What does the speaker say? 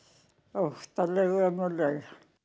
óttalega ömurleg